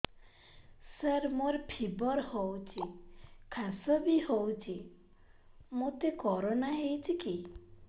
ସାର ମୋର ଫିବର ହଉଚି ଖାସ ବି ହଉଚି ମୋତେ କରୋନା ହେଇଚି କି